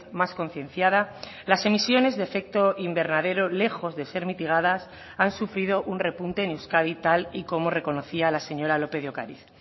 más concienciada las emisiones de efecto invernadero lejos de ser mitigadas han sufrido un repunte en euskadi tal y como reconocía la señora lópez de ocariz